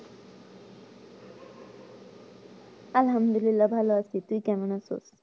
আলহামদুলিল্লাহ ভালো আছি, তুই কেমন আছো?